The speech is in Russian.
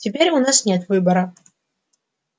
теперь у нас нет выбора